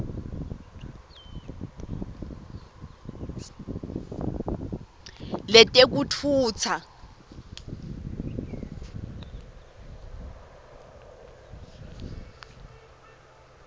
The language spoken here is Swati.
letekutfutsa